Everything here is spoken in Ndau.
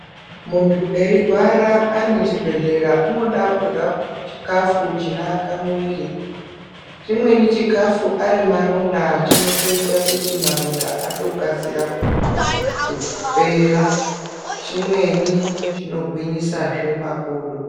Muntu eirwara ari muchibhedhlera unoda kurya chikafu chinoaka mwiri. Chimweni chikafu ari maronda chinotoita kuti maronda atokasira kupera, chimweni chino gwinyisazve makodo.